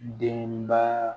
Denba